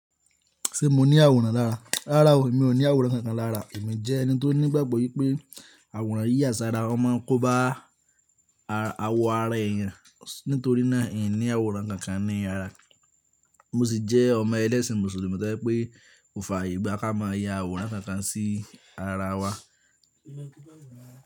Ṣé mo ní àwòrán lára? Rárá o, mi ò ní àwòrán kankan lára. Èmi jẹ́ ẹni tó ní ìgbàgbọ́ wípé àwòrán yí yà sára, wọ́n máa ń kóbá àwọ ara eyan nítorí náà, in ní àwòrán kankan ní ara. Mo sì jẹ́ ọmọ ẹlẹ́sìn Mùsùlùmí tojẹ pé kò fàyè gbà ká máa ya àwòrán kankan sí ara wa.